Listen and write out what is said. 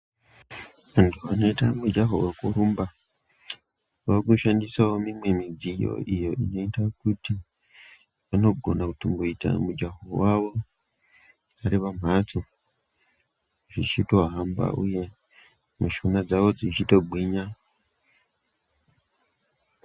Vanhu vanoita mujahowekurumba vakushandisawo imwe midziyo iyo inoita kuti vanogona kutongoita mujaho wavo vari pamphatso zvichitofamba uye mishuna dzavo dzichitogwinya.